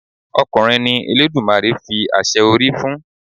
Ọkùnrin ni Eledumare fi àṣẹ orí fún.